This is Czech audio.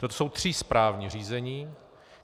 Toto jsou tři správní řízení.